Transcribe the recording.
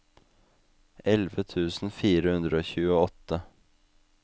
elleve tusen fire hundre og tjueåtte